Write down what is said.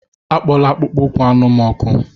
Akpola akpụkpọ ụkwụ anụ m ọkụ!